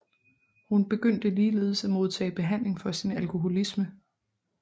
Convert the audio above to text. Hun begyndte ligeledes at modtage behandling for sin alkoholisme